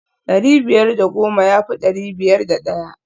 dari biyar da goma ya fi dari biyar da daya